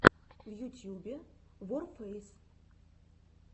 в ютьюбе ворфэйс